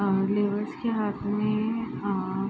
अअ labours के हाथ में अअ --